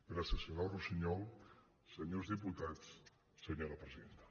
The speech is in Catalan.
gràcies senyora russiñol senyors diputats senyora presidenta